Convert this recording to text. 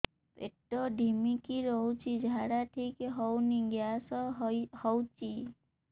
ପେଟ ଢିମିକି ରହୁଛି ଝାଡା ଠିକ୍ ହଉନି ଗ୍ୟାସ ହଉଚି